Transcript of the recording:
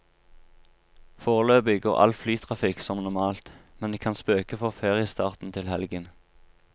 Foreløpig går all flytrafikk som normalt, men det kan spøke for feriestarten til helgen.